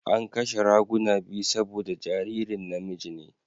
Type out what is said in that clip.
An kashe raguna biyu saboda jaririn namiji ne.